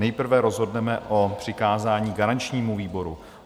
Nejprve rozhodneme o přikázání garančnímu výboru.